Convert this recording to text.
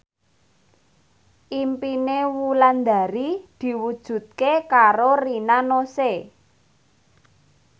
impine Wulandari diwujudke karo Rina Nose